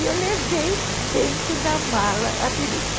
E eu levei dentro da mala a peruca.